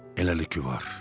Eləlikə var.